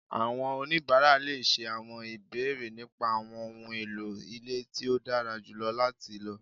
Àwọn onibara le ṣé àwọn ìbéèrè nípa àwọn ohùn èlò ilé tí o dára jùlọ láti ló